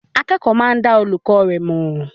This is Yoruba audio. Akẹ́kọ̀ọ́ máa dá olùkọ́ rẹ̀ mọ̀.